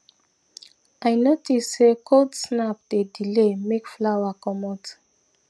i notice say cold snap dey delay make flower commot